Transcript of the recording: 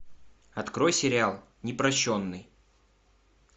открой сериал непрощенный